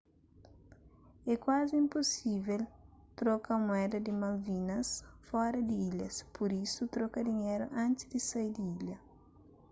é kuazi inpusível troka mueda di malvinas fora di ilhas pur isu troka dinheru antis di sai di ilha